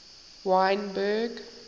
wynberg